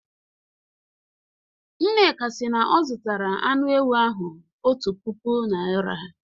Nneka si na ọ zụtara anụ ewu ahụ otu puku naira